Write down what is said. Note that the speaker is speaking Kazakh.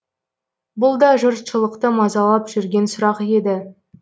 бұл да жұртшылықты мазалап жүрген сұрақ еді